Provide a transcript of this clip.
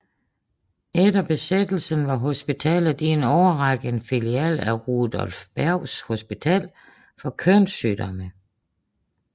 Efter besættelsen var hospitalet i en årrække en filial af Rudolf Bergs Hospital for kønssygdomme